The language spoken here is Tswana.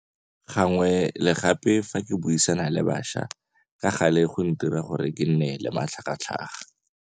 Gangwe le gape fa ke buisana le bašwa ka gale go ntira gore kenne le matlhagatlhaga.